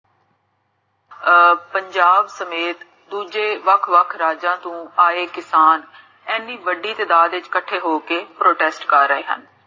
ਅਹ ਪੰਜਾਬ ਸਮੇਤ ਦੂਜੇ ਵਖ ਵਖ ਰਾਜਾਂ ਤੋਂ ਆਏ ਕਿਸਾਨ ਇੰਨੀ ਵੱਡੀ ਤਾਦਾਰ ਦੇ ਵਿਚ ਕਥੇ ਹੋ ਕੇ protest ਕਰ ਰਹੇ ਹਨ